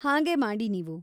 ಹಾಗೇ ಮಾಡಿ ನೀವು.